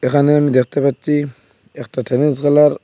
এখানে আমি দেখতে পাচ্ছি একটা টেনিস ।